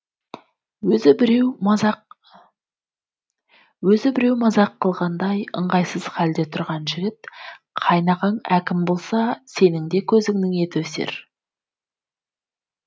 өзі біреу мазақ қылғандай ыңғайсыз халде тұрған жігіт қайнағаң әкім болса сенің де көзіңнің еті өсер